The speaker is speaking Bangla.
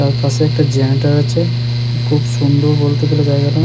তার কাছে একটা জেনারেটর আছে খুব সুন্দর বলতে গেলে জায়গাটা।